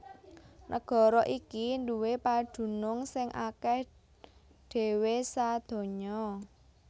Nagara iki nduwé padunung sing akèh dhéwé sadonya